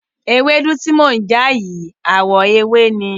Ewédú tí mò ń já yìí àwọ̀ ewé ni.